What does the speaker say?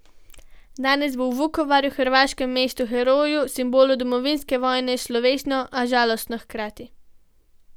Danes bo v Vukovarju, hrvaškem mestu heroju, simbolu domovinske vojne, slovesno, a žalostno hkrati.